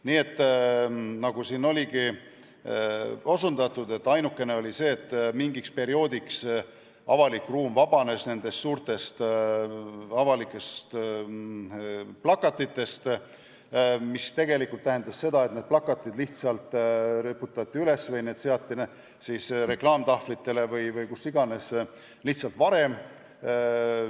Nii et nagu siin saigi osutatud, oli ainukene mõju see, et mingiks perioodiks vabanes avalik ruum suurtest avalikest plakatitest, mis aga tegelikult tähendas seda, et need plakatid riputati üles või seati reklaamtahvlitele või kuhu iganes lihtsalt varem.